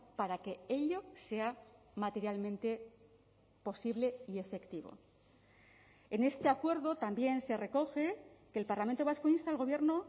para que ello sea materialmente posible y efectivo en este acuerdo también se recoge que el parlamento vasco insta al gobierno